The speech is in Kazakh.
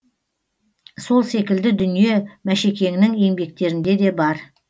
сол секілді дүние мәшекеңнің еңбектерінде де бар